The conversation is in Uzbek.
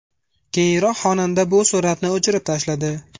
Keyinroq xonanda bu suratni o‘chirib tashladi.